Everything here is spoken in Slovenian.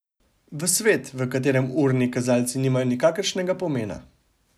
V svet, v katerem urni kazalci nimajo nikakršnega pomena.